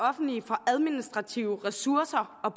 offentlige for administrative ressourcer og